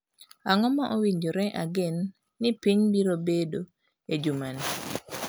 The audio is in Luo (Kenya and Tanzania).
Ang'o ma owinjore ageno ni piny biro bedo e juma ni